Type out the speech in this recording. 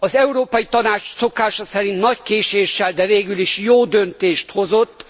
Az Európai Tanács szokása szerint nagy késéssel, de végül is jó döntést hozott.